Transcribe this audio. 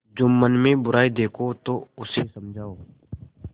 जुम्मन में बुराई देखो तो उसे समझाओ